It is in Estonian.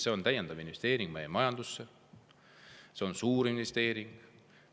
See on täiendav investeering meie majandusse, see on suurinvesteering.